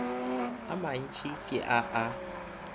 a mantši ke a a